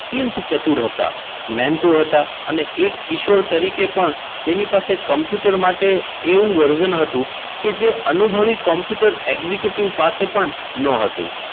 અત્યંત ચતુર હતા મહેનતુ હતા. અને એક કિશોર તરીકે પણ તેની પાસે કમ્પ્યુટર માટે એવું version હતું. કે જે અનુભવી કોમ્પ્યુટર executive પાસે પણ ન હતુ.